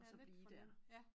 Ja lidt for længe ja